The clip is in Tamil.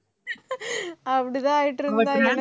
அப்படித்தான்